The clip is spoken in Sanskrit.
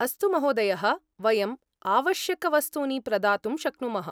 अस्तु महोदयः। वयम् आवश्यकवस्तूनि प्रदातुं शक्नुमः।